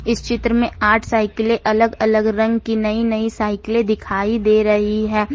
इस चित्र में आठ साइकिलें अलग अलग रंग की नई नई रंग की साइकिलें दिखाई दे रही है।